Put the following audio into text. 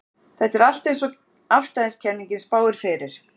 Þetta er allt eins og afstæðiskenningin spáir fyrir.